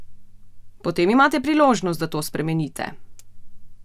Potem imate priložnost, da to spremenite!